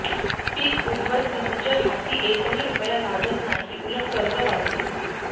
पिक उध्वस्त म्हणजे हाती एकही रुपया लागत नाही उलट कर्ज वाढते